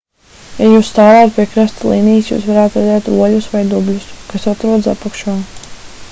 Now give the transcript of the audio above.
ja jūs stāvētu pie krasta līnijas jūs varētu redzēt oļus vai dubļus kas atrodas apakšā